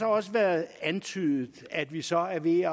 også været antydet at vi så er ved